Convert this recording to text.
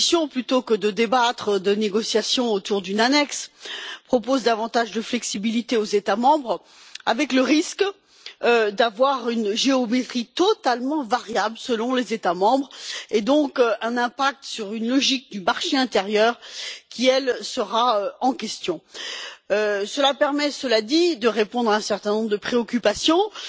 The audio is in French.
Plutôt que de débattre et de négocier autour d'une annexe, vous proposez d'accorder davantage de flexibilité aux États membres, avec le risque d'avoir une géométrie totalement variable selon les États membres et donc un impact sur une logique du marché intérieur qui, elle, sera remise en question. Cela permet, cela dit, de répondre à un certain nombre de préoccupations, notamment